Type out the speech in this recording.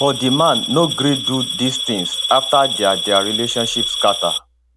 but di man no gree do these tins afta dia dia relationship scata